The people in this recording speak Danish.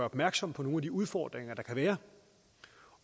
opmærksom på nogle af de udfordringer der kan være og